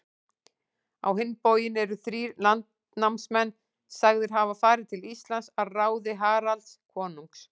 Á hinn bóginn eru þrír landnámsmenn sagðir hafa farið til Íslands að ráði Haralds konungs.